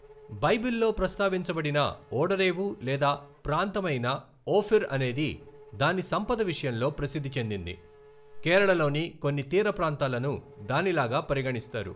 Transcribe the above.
బైబిల్లో ప్రస్తావించబడిన ఓడరేవు లేదా ప్రాంతం అయిన ఓఫిర్ అనేది దాని సంపద విషయంలో ప్రసిద్ధి చెందింది, కేరళలోని కొన్ని తీర ప్రాంతాలను దానిలాగా పరిగణిస్తారు.